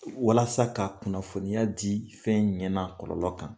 Walasa ka kunnafoniya di fɛn ɲɛ n'a kɔlɔlɔ kan.